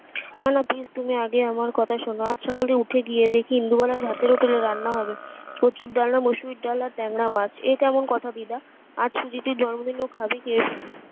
please তুমি আগেই আমার কথা শোন আজ সকালে উঠে গিয়ে দেখি ইন্দুবালার ভাতের হোটেল এ রান্না হবে কুচুর ডালনা মুসুরির ডাল আর ট্যাংরা মাছ এ কেমন কথা দিদা আজ তো দিদির জন্মদিন এ ও খাবে কি